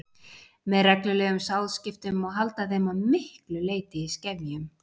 Með reglulegum sáðskiptum má halda þeim að miklu leyti í skefjum.